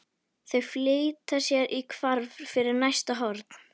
Þau flýta sér í hvarf fyrir næsta horn.